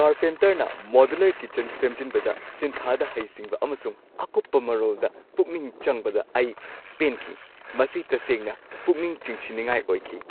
ꯀꯥꯔꯄꯦꯟꯇꯔꯅ modular kitchen ꯁꯦꯝꯖꯤꯟꯕꯗ ꯁꯤꯟꯊꯥꯗ ꯍꯩꯁꯤꯡꯕ ꯑꯃꯁꯨꯡ ꯑꯀꯨꯞꯄ ꯃꯔꯣꯜꯗ ꯄꯨꯛꯅꯤꯡ ꯆꯪꯕꯗ ꯑꯩ ꯄꯦꯟꯈꯤ꯫ ꯃꯁꯤ ꯇꯁꯦꯡꯅ ꯄꯨꯛꯅꯤꯡ ꯆꯤꯡꯁꯤꯟꯅꯤꯡꯉꯥꯏ ꯑꯣꯏꯈꯤ ꯫